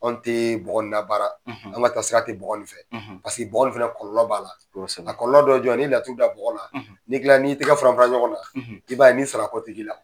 An tɛ bɔgɔ in labara an ka sira te bƆgƆ in fƐ bɔgƆ in kɔlɔlƆ b'a la kɔlƆlɔ dɔ ye jɔn ye n'i laturu da bƆgƆ la n'i y'i tɛgɛ fara fara ɲɔgɔn na i b'a ye ni sara kɔtiki la.